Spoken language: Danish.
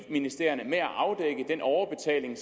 ministerierne med at afdække den overbetaling